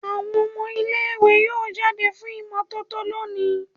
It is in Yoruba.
Awọn ọmọ ile-iwe yoo jade fun imototo loni